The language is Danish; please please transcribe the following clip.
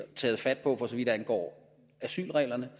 taget fat på for så vidt angår asylreglerne